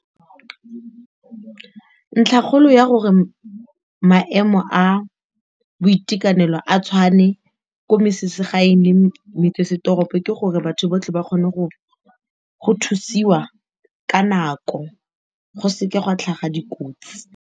Ntlhakgolo ya gore maemo a boitekanelo a tshwane ko metseselegaeng le metsesetoropo ke gore batho botlhe ba kgone go thusiwa ka nako go seke ga tlhaga dikotsi.